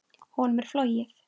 Honum er flogið.